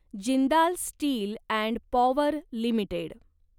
Jindal steel and power limited